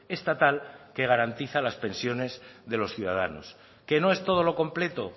estatal que garantiza las pensiones de los ciudadanos qué no es todo lo completo